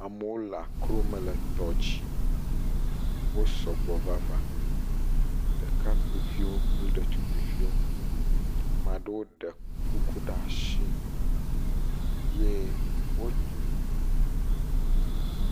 Amewo le akrɔo me le tɔ dzi, wo sɔgbɔ vava. Ɖekakpuiviwo kple ɖetugbuiviwo, ame aɖewo ɖe kuku ɖe asi ye wo…